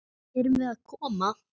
Erum við að koma?